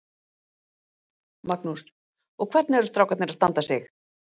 Magnús: Og hvernig eru strákarnir að standa sig?